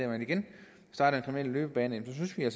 og igen starter en kriminel løbebane synes vi at